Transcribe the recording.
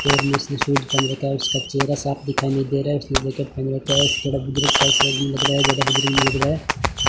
पैर में उसने शूज़ पहन रखा है उसका चेहरा साफ दिखाई नहीं दे रहा है उसने जैकेट पहन रखा है थोड़ा बुर्जुग सा शायद भी लग रहा है ज्यादा बुजुर्ग भी नी लग रहा है।